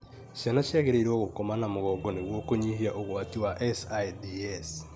Ciana ciagĩrĩirũo gũkoma na mũgongo nĩguo kũnyihia ũgwati wa SIDS